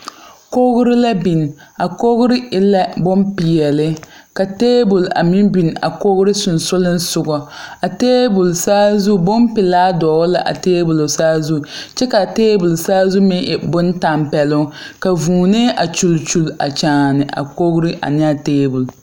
Kogre la biŋ. A kogre e la boŋ piɛle. Ka tabul a meŋ biŋ a kogre susuglesugɔ. A tabul saazu bon pulaa dogle la a tabul saazu. Kyɛ ka a tabul saazu meŋ e boŋ tampɛluŋ. Ka vuunɛ a kyule kyule a kyaane a kogre ane a tabul.